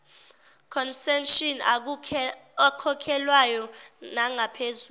concession akhokhelwayo nangaphezulu